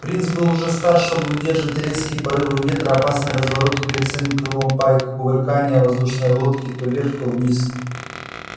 принц был уже стар чтобы выдерживать резкие порывы ветра опасные развороты перед самим крылом пайка кувыркания воздушной лодки то вверх то вниз